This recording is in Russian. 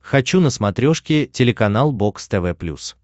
хочу на смотрешке телеканал бокс тв плюс